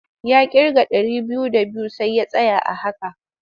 Ya ƙirga ɗari biyu d abiyu sai ya tsaya a haka.